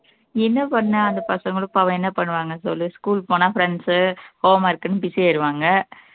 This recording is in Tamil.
என்ன பண்ண அந்த பசங்களும் பாவம் என்ன பண்ணுவாங்க சொல்லு school போனா friends உ home work ன்னு busy ஆயிடுவாங்க